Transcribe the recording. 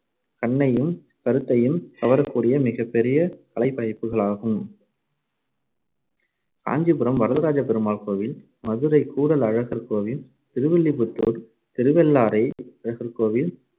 கண்ணையும் கருத்தையும் கவரக்கூடிய மிகப்பெரிய கலைப்படைப்புகளாகும். காஞ்சிபுரம் வரதராஜ பெருமாள் கோவில், மதுரை கூடல் அழகர் கோவில், திருவில்லிபுத்தூர், திருவெள்ளரை, அழகர்கோவில்,